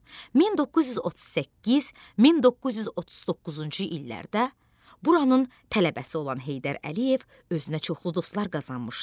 1938-1939-cu illərdə buranın tələbəsi olan Heydər Əliyev özünə çoxlu dostlar qazanmışdı.